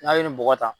N'a ye nin bɔgɔ ta